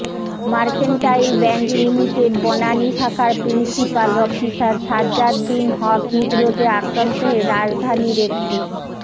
mercantile Bank Limited Banani শাখার principal officer Sajjad bin Haque হৃদরোগে আক্রান্ত হয়ে রাজধানীর একটি